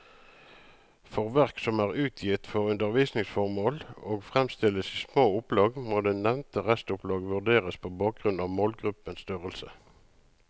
For verk som er utgitt for undervisningsformål og fremstilles i små opplag, må det nevnte restopplag vurderes på bakgrunn av målgruppens størrelse.